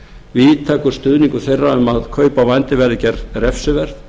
víðtækur stuðningur þeirra um að kaup á vændi verði gerð refsiverð